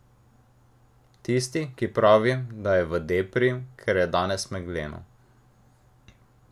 Tisti, ki pravi, da je v depri, ker je danes megleno ...